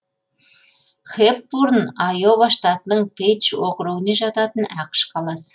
хэпбурн айова штатының пейдж округіне жататын ақш қаласы